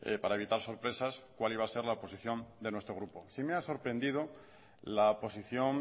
para evitar sorpresas cuál iba a ser la posición de nuestro grupo sí me ha sorprendido la posición